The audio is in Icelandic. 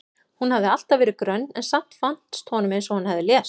Hún hafði alltaf verið grönn en samt fannst honum eins og hún hefði lést.